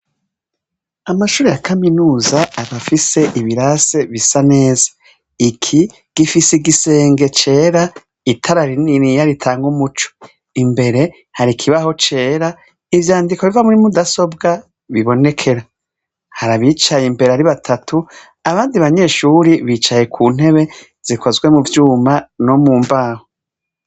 Amashure ya kaminuza aba afise ibirase bisa neza. Iki gifise igisenge cera, itara rininiya ritanga umuco. Imbere, hari ikibaho cera, ivyandiko vyo muri rudasobwa bibonekerwa. Hari abicaye imbere ari batatu, abandi banyeshure bicaye ku ntebe zikozwe mu vyuma no mu mbaho.